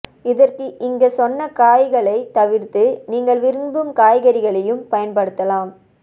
இதற்கு இங்கு சொன்ன காய்களைத் தவிர்த்து நீங்கள் விரும்பும் காய்கறிகளையும் பயன்படுத்தலாம்